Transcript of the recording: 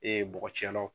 Ee bɔgɔ cɛlaw